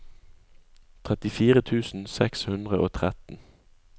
trettifire tusen seks hundre og tretten